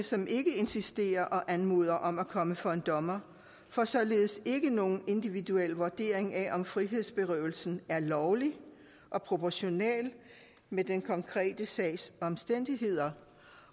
som ikke insisterer og anmoder om at komme for en dommer får således ikke nogen individuel vurdering af om frihedsberøvelsen er lovlig og proportional med den konkrete sags omstændigheder